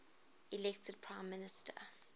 elected prime minister